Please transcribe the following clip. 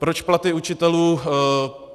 Proč platy učitelů?